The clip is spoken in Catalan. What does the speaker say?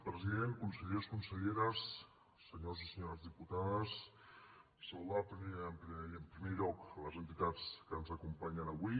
president consellers conselleres senyors i senyores diputades saludar en primer lloc les entitats que ens acompanyen avui